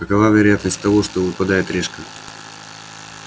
какова вероятность того что выпадает решка